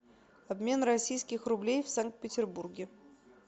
обмен российских рублей в санкт петербурге